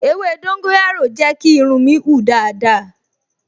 Ewé dóńgóyárò jẹ́ kí irun mi hun dáadáa